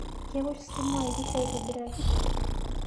Kewosh simuai pisha aitibiraki